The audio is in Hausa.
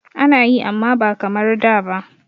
Ana yi amma ba kamar da ba.